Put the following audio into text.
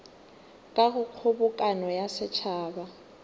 ka go kgobokano ya setšhaba